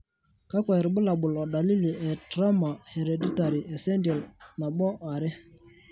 kakwa irbulabol o dalili e Tremor hereditary essential,2?